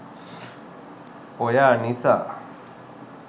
oya nisa